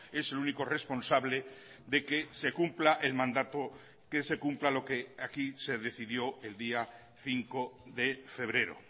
es el único responsable de que se cumpla el mandato que se cumpla lo que aquí se decidió el día cinco de febrero